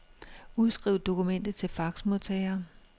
Udskriv dokumentet til faxmodtager.